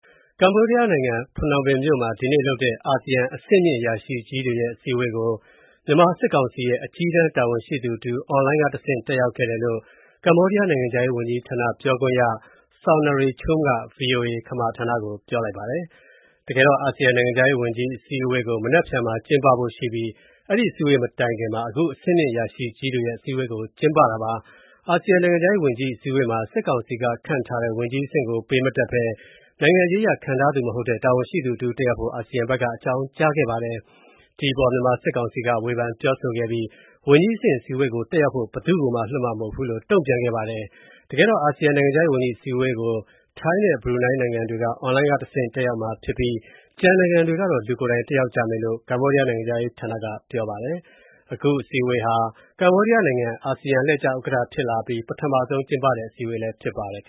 ကမ္ဘောဒီးယားနိုင်ငံ၊ ဖနွမ်းပင်မြို့တော်မှာ ဒီကနေ့လုပ်တဲ့ အာဆီယံ အဆင့်မြင့် အရာရှိကြီးတွေရဲ့ အစည်းအဝေးကို မြန်မာ စစ်ကောင်စီရဲ့ အကြီးတန်း တာဝန်ရှိသူတဦး အွန်လိုင်းကတဆင့် တက်ရောက်ခဲ့တယ်လို့ ကမ္ဘောဒီးယားနိုင်ငံခြားရေးဌာန ပြောခွင့်ရတဦးဖြစ်သူ Sounry Chum က ဗွီအိုအေ ခမာဌာနကို ပြောပါတယ်။ အာဆီယံနိုင်ငံခြားရေးဝန်ကြီး အစည်းအဝေး (AMM) ကို မနက်ဖြန်မှာ ကျင်းပဖို့ရှိပြီး အဲဒီမတိုင်ခင်မှာ အဆင့်မြင့် အရာရှိကြီးတွေ ရဲ့ အစည်းအဝေးကျင်းပတာပါ။ အာဆီယံ နိုင်ငံခြားရေးဝန်ကြီးအစည်းအဝေးမှာ စစ်ကောင်စီကခန့်ထားတဲ့ ဝန်ကြီးအဆင့်ကို ပေးမတက်ဘဲ နိုင်ငံရေးအရ ခန့်ထားသူမဟုတ်တဲ့ တာဝန်ရှိသူတဦး တက်ရောက်ဖို့ အာဆီယံဘက်က အကြောင်းကြားခဲ့ပါတယ်။ ဒီအပေါ် စစ်ကောင်စီက ဝေဖန်ပြောဆိုခဲ့ပြီး ဝန်ကြီးအဆင့် အစည်းအဝေးကိုတက်ရောက်ဖို့ ဘယ်သူ့ကိုမှ လွှတ်မှာမဟုတ်ဘူးလို့ တုံ့ပြန်ခဲ့ပါတယ်။ အာဆီယံ နိုင်ငံခြားရေးဝန်ကြီး အစည်းအဝေးကို ထိုင်းနဲ့ ဘရူနိုင်းနိုင်ငံတွေက အွန်လိုင်းကတဆင့် တက်ရောက်မှာဖြစ်ပြီး ကျန်နိုင်ငံတွေကတော့ လူကိုယ်တိုင် တက်ရောက်ကြမယ်လို့ ကမ္ဘောဒီးယားနိုင်ငံခြားရေးဌာနက ပြောပါတယ်။ အခု AMM အစည်းအဝေးဟာ ကမ္ဘောဒီးယားနိုင်ငံ အာဆီယံအလှည့်ကျဥက္ကဋ္ဌဖြစ်လာအပြီး ပထမဆုံးကျင်းပတဲ့ အစည်းအဝေးဖြစ်ပါတယ်။